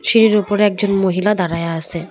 সিঁড়ির উপরে একজন মহিলা দাঁড়ায়া আছে।